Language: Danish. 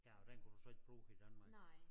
Ja og den kunne du så ikke bruge i Danmark